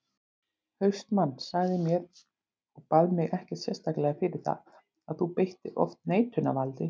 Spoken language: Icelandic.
HAustmann sagði mér, og bað mig ekkert sérstaklega fyrir það, að þú beittir oft neitunarvaldi.